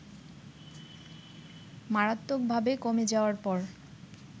মারাত্মকভাবে কমে যাওয়ার পর